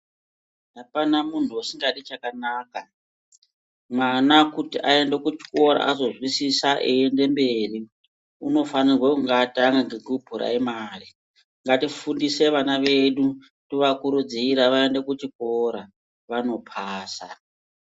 Apana munthu usingadi chakanaka mwana kuti aende kuchikora azozwisisa eiende mberi unofanirwa kunge atanga nekupuraimari ngatifundise vana vedu tovakurudzire vaende kuchikora vanopasa.